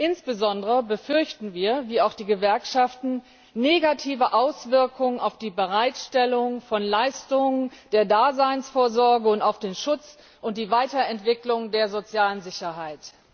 Insbesondere befürchten wir, wie auch die Gewerkschaften, negative Auswirkungen auf die Bereitstellung von Leistungen der Daseinsvorsorge und auf den Schutz und die Weiterentwicklung der sozialen Sicherheit.